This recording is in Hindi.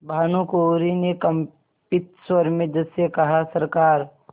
भानुकुँवरि ने कंपित स्वर में जज से कहासरकार